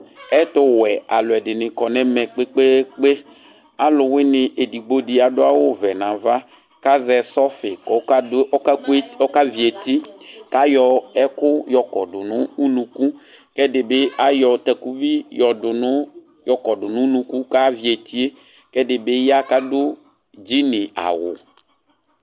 ɛtu wɛ aluɛdini kɔ nu ɛvɛ kpekpekpe aluwuini edigbo di adu awu ɔvɛ nu ava azɛ sɔfi ku ɔka vi eti kayɔ ɛku yɔkɔdu nu unuku aluɛdini ayɔ takuvi yɔkɔdu nu unuku kɛdi bi ya ku adu Gin awu